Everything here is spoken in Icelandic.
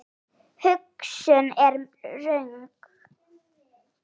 Þessi hugsun er röng.